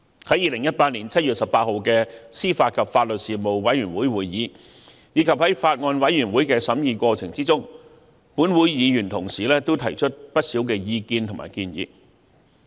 在2018年7月18日的司法及法律事務委員會會議上，以及在法案委員會的審議過程中，本會的議員同事也提出不少意見和建議。